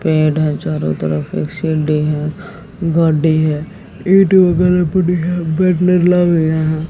पेड़ है चारों तरफ एक सीडी है गाड़ी है ईंट वगैरा पड़ी हैं बैनर लावे हैं।